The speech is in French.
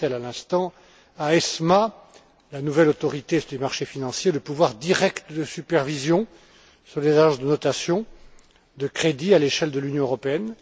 Chastel à l'instant, à ESMA, la nouvelle Autorité du marché financier, le pouvoir direct de supervision sur des agences de notation de crédits à l'échelle européenne.